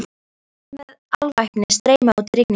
Hermenn með alvæpni streyma út í rigninguna.